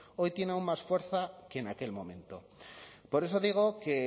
hoy tiene aun más fuerza que en aquel momento por eso digo que